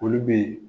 Olu bɛ yen